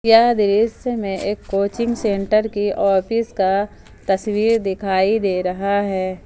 यह दृश्य में एक कोचिंग सेंटर की ऑफिस का तस्वीर दिखाई दे रहा है।